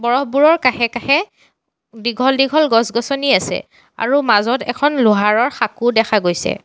বৰফবোৰৰ কাষে কাষে দীঘল দীঘল গছ গছনি আছে আৰু মাজত এখন লোহাৰৰ সাঁকো দেখা গৈছে।